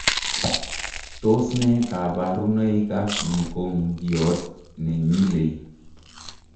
Tos ne kabaruboik ap Mukongiot nenyilei?